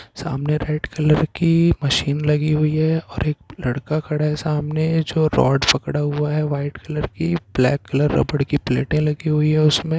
सामने red colour की मशीन लगी हुए है और एक लड़का खड़ा है। सामने जो रोड़ पकड़ा हुआ हे वाइट कलर की ब्लैक कलर रबड़ की पलेटे लगी हुई है उसमे--